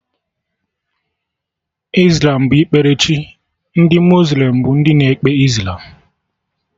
Islam bụ ikpere chi, ndị muslim bụ ndị na-ekpe Islam